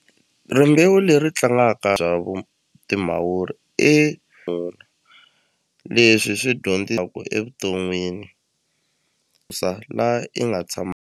Rimbewu leri tlangaka bya vu timavuri e leswi swi evuton'wini sa la i nga tshama.